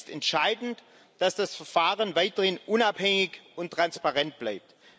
Es ist entscheidend, dass das Verfahren weiterhin unabhängig und transparent bleibt.